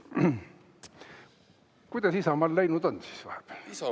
Kuidas Isamaal läinud on siis vahepeal?